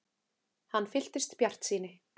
Hann fylltist bjartsýni.